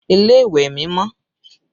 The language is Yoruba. Ilé ìwẹ̀ mi mọ́